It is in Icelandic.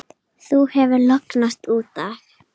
Þú hefur lognast út af!